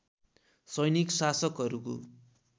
सैनिक शासकहरूको